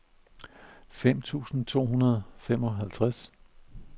fem tusind to hundrede og femoghalvtreds